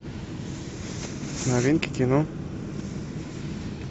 новинки кино